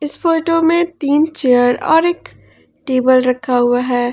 इस फोटो में तीन चेयर और एक टेबल रखा हुआ है।